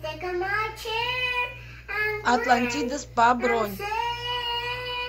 атлантида спа бронь